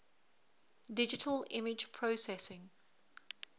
digital image processing